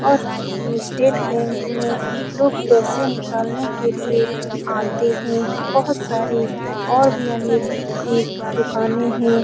और में state bank में लोग पैसे निकालने के लिए आते हैं बहुत सारी और भी अनेक-एक दुकानें हैं ।